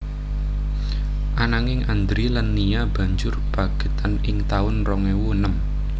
Ananging Andri lan Nia banjur pegatan ing taun rong ewu enem